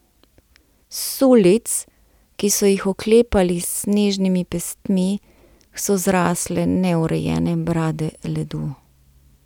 S sulic, ki so jih oklepali s snežnimi pestmi, so zrasle neurejene brade ledu.